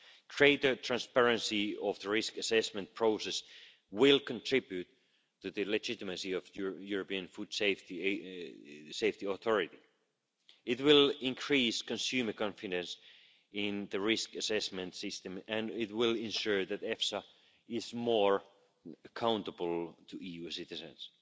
Greater transparency of the risk assessment process will contribute to the legitimacy of the European Food Safety Authority It will increase consumer confidence in the risk assessment system and it will ensure that EFSA is more accountable to EU citizens.